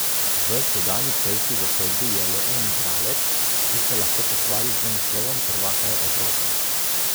V sedanji celjski zasedbi je le en igralec, ki se lahko pohvali z naslovom prvaka Evrope.